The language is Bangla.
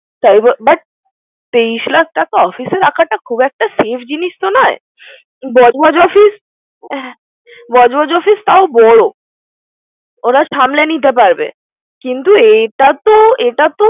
তেইশ লাখ টাকা office এ রাখা খুব একটা safe জিনিস তো নয়। বজবজ অফিস, বজবজ অফিস তাও বড়। ওরা সামলে নিতে পারবে। কিন্তু এটা তো, এটা তো।